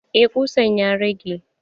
Eh ƙusan ya rage.